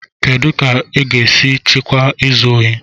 Kedu ka a ga-esi chịkwaa izu ohi?